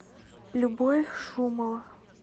любовь шумова